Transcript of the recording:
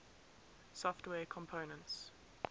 software components